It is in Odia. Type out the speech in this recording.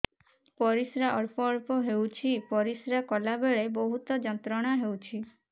ପରିଶ୍ରା ଅଳ୍ପ ଅଳ୍ପ ହେଉଛି ପରିଶ୍ରା କଲା ବେଳେ ବହୁତ ଯନ୍ତ୍ରଣା ହେଉଛି